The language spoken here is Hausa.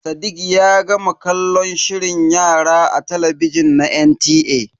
Sadiq ya gama kallon shirin yara a talabijin na NTA.